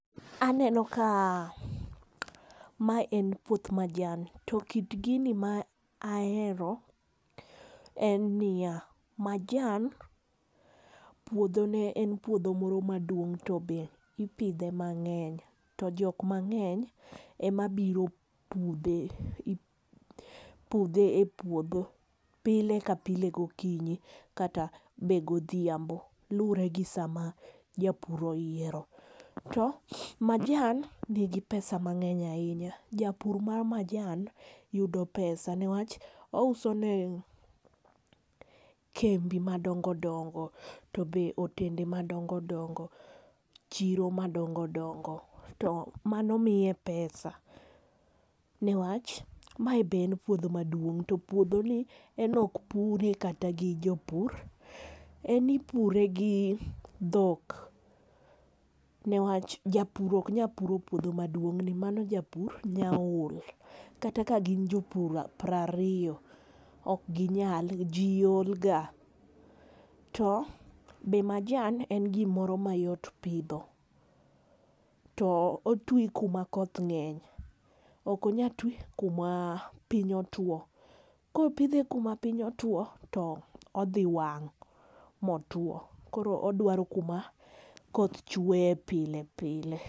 Aneno ka mae en puoth majan. To kit gini ma ahero en ni ya, majan puodho ne en puodho moro maduong to be ipidhe mangeny to jok mangeny ema biro pudhe e pudhe e puodho pile ka pile go kinyi kata be godhiambo luore gi sama japur oyiero to majan ni gi pesa mangeny ainya japur ma majan yudo pesa ne wach ouso ne kembe madongo dongo to be otende ma dongo dongo, chiro ma dongodongo to mano miye pesa ne wach mae be en puodho maduong to puodho ni en ok pure kata gi jopur en ipure gi dhok, ne wach japur ok nya puro puodho ma duong ni mano japur nya ol. Kata ka gin jopur piero ariyo ok gi nyal, ji ol ga. To be majan en gi moro ma yot pidho to otwi kuma koth ng'eny ok onyal twi kuma piny otwo. ka opidhe kuma piny otwo to odhi wang' mo otwo. Koro odwaro kuma koth chweye pile pile.